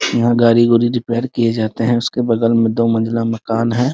यहाँ गाड़ी गुड़ी रिपेयर किये जाते हैं उसके बगल में दो मंजिला मकान है ।